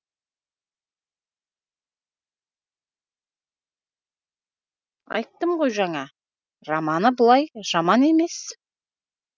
айттым ғой жаңа романы былай жаман емес